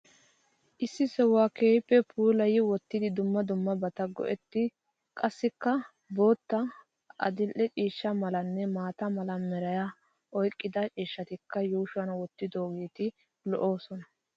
Issi sohuwa keehippe puulayi wottidi dumma dummabata go'etti qassikka bootta, adil'e ciishsha malanne maata mala meraa oyiqqida ciishshatakka yuushuwan wottidoogeeti lo'oosona.